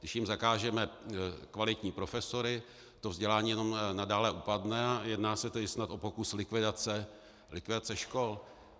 Když jim zakážeme kvalitní profesory, to vzdělání jenom nadále upadne, a jedná se tedy snad o pokus likvidace škol.